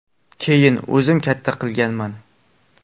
Keyin o‘zim katta qilganman.